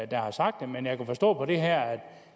der har sagt det men jeg kan forstå på det her